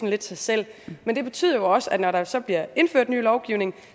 lidt sig selv men det betyder jo også at når der så bliver indført ny lovgivning